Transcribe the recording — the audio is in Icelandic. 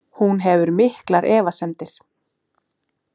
Hún hefur miklar efasemdir.